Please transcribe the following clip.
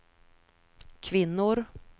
kvinnor